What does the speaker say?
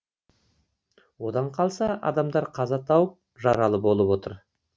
одан қалса адамдар қаза тауып жаралы болып отыр